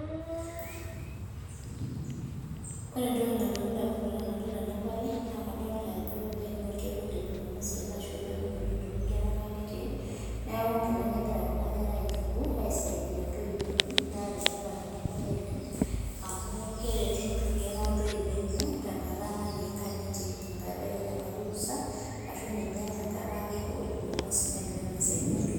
Ore entoki nalotu indamunot tenadol enabae, nakadolta ajo ebaiki na orkekun le jumamosi ele ashu orkekun otii nkera nkang'itie, neeku nkilani egira kuna kera aituku, aisaidia intoiwuo enye, nenetipat enabae oleng amu keretu inkera ntoiwuo enye, tenkata natii nkang'itie. Ebaiki tenkata orusa, ashu ninye tenkata e jumamosi negira naa aisaidia ntoiwuo.